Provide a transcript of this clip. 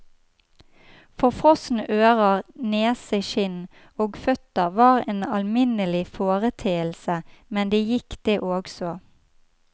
Forfrosne ører, nese, kinn og føtter var en alminnelig foreteelse, men det gikk, det også.